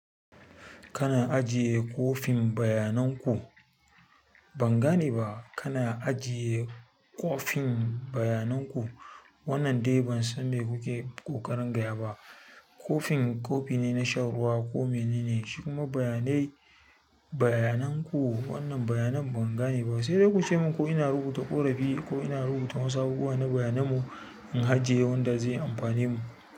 Kana ajiye kwafin bayanan ku? Ban gane ba. Kana ajiye kwafin bayanan ku? Wannan dai ban san me kuke ƙoƙarin gaya ba. Kwafin, kofi ne na shan ruwa ko menene, shi kuma bayanai bayanan ku, wannan bayanan ban gane ba. Sai dai kuce mun ko ina rubuta ƙorafi ko ina rubuta wasu abubuwa na bayanan mu in ajiye wanda zai amfane mu.